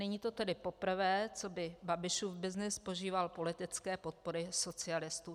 Není to tedy poprvé, co by Babišův byznys požíval politické podpory socialistů.